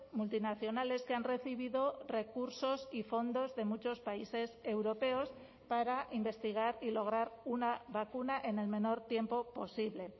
multinacionales que han recibido recursos y fondos de muchos países europeos para investigar y lograr una vacuna en el menor tiempo posible